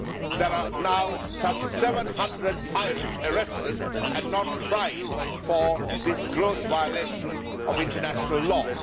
There are now some 700 pirates arrested and not tried for this gross violation of international law.